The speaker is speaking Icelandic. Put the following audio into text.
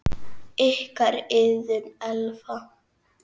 Ykkar, Iðunn Elfa.